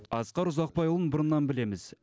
асқар ұзақбайұлын бұрыннан білеміз